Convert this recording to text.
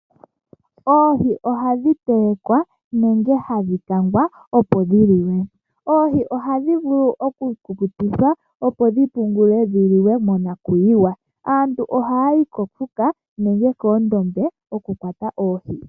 Oohi ohadhi telekwa nenge hadhi kangwa opo dhi liwe. Oohi ohadhi vulu oku kukutikwa opo dhi pungulwe dhi liwe monakuyiwa. Aantu ohaya yi koondombe nenge komadhiya okukwata oohi.